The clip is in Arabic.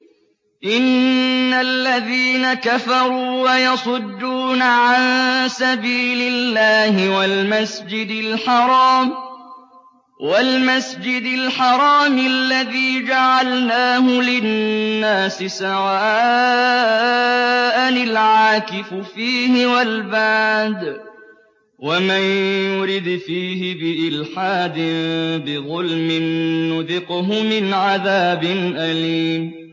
إِنَّ الَّذِينَ كَفَرُوا وَيَصُدُّونَ عَن سَبِيلِ اللَّهِ وَالْمَسْجِدِ الْحَرَامِ الَّذِي جَعَلْنَاهُ لِلنَّاسِ سَوَاءً الْعَاكِفُ فِيهِ وَالْبَادِ ۚ وَمَن يُرِدْ فِيهِ بِإِلْحَادٍ بِظُلْمٍ نُّذِقْهُ مِنْ عَذَابٍ أَلِيمٍ